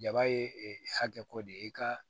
Jaba ye ee hakɛ ko de ye i ka